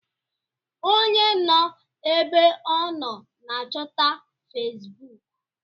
Onye nọ ébé ọ nọ n'achọta Fesbụụk.